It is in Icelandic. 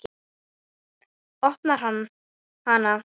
Opnar hana.